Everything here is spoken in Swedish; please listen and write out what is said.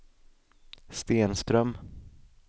Stenström